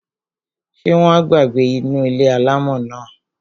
Ṣé wọn á gbé inú ilé-alámọ̀ náà?